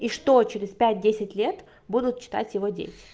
и что через пять десять лет будут читать его дети